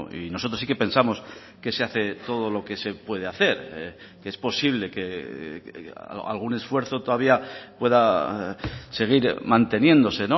y nosotros sí que pensamos que se hace todo lo que se puede hacer es posible que algún esfuerzo todavía pueda seguir manteniéndose